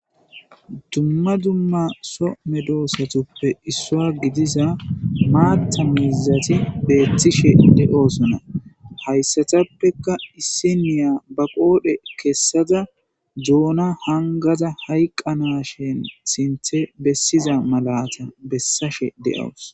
Dumma dumma so medoosathuppe issuwa gidiza maaththa miizzathi beeththishe de7oosona; hayssathappekka issiniya ba qoodhe kessada doona hanggaza hayqqanaashen sinththe bessiza malaatha bessashe de7awus.